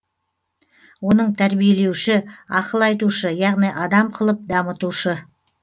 оның тәрбиелеуші ақыл айтушы яғни адам қылып дамытушы